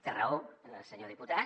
té raó senyor diputat